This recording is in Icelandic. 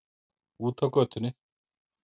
Úti á götunni.